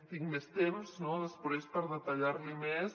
tinc més temps no després per detallar li més